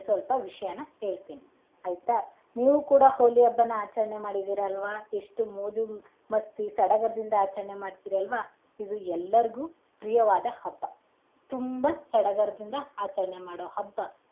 ಸ್ವಲ್ಪ ವಿಷ್ಯನ ಹೇಳ್ತೀನಿ ಆಯ್ತಾ ನೀವು ಕೂಡ ಹೋಳಿ ಹಬ್ಬನಾ ಆಚರಣೆ ಮಾಡಿದಿರ ಅಲ್ವಾ ಎಷ್ಟು ಮೋಜು ಮಸ್ತಿ ಸಡಗರದಿಂದ ಆಚರಣೆ ಮಾಡ್ತೀರಿ ಅಲ್ವಾ ಇದು ಎಲ್ಲರ್ಗೂ ಪ್ರಿಯವಾದ ಹಬ್ಬ ತುಂಬಾ ಸಡಗರದಿಂದ ಆಚರಣೆ ಮಾಡೋ ಹಬ್ಬ.